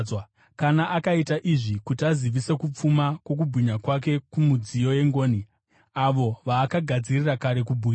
Kana akaita izvi kuti azivise kupfuma kwokubwinya kwake kumidziyo yengoni, avo vaakagadzirira kare kubwinya,